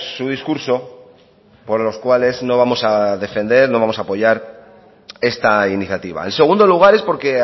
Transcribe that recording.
su discurso por los cuales no vamos a defender no vamos a apoyar esta iniciativa en segundo lugar es porque